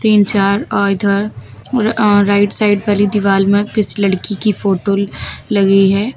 तीन चार और इधर और राइट साइड वाली दीवाल मे किसी लड़की कि फोटो लगी है।